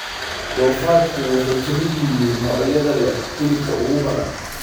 Doofaarku waxay ka mid yihiin noocyada leh hilibka ugu badan.